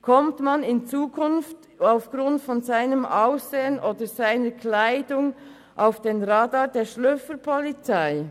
Gerät man in Zukunft aufgrund seines Aussehens oder seiner Kleidung auf den Radar der Schnüffelpolizei?